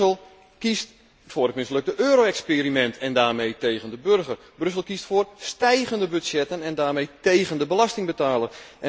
Brussel kiest voor het mislukte euro experiment en daarmee tegen de burger. Brussel kiest voor stijgende budgetten en daarmee tegen de belastingbetaler.